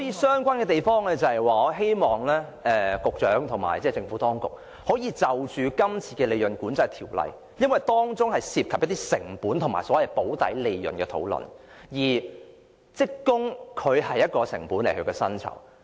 相關的地方是我希望局長和政府當局可以藉着今次有關利潤管制的商議作出跟進，因為當中涉及成本和所謂"補底利潤"的討論，而職工薪酬是其中一項成本。